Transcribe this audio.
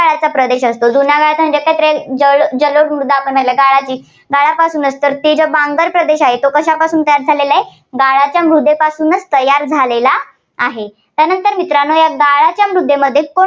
तो जुन्या गाळाचा प्रदेश असतो. जलो जलोद मृदा आपण याला गाळाची ~ गाळापासूनच ते जे बांगर प्रदेश आहे, तो कशापासून तयार झालेला आहे गाळाच्या मृदेपासून तयार झालेला आहे. त्यानंतर मित्रांनो या गाळाच्या मृदेमध्ये